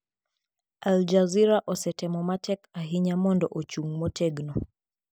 Al Jazeera osetemo matek ahinya mondo ochung ' motegno.